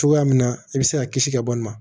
Cogoya min na i bɛ se ka kisi ka bɔ nin ma